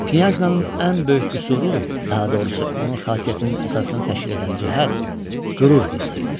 Knyajnanın ən böyük qüsuru, daha doğrusu, onun xasiyyətinin əsasını təşkil edən cəhət qürur hissi idi.